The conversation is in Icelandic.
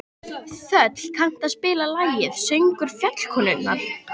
Þöll, kanntu að spila lagið „Söngur fjallkonunnar“?